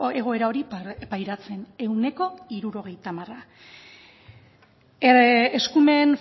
egoera hori pairatzen ehuneko hirurogeita hamar eskumen